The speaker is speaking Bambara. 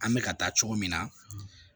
An bɛ ka taa cogo min na